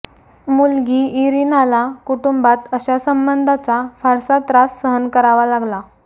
मुलगी इरीनाला कुटुंबात अशा संबंधांचा फारसा त्रास सहन करावा लागला